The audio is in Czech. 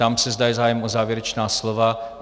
Ptám se, zda je zájem o závěrečná slova.